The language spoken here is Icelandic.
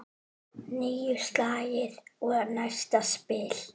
Níu slagir og næsta spil.